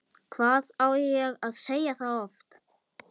Hann var að reyna að losa engilinn af súlunni!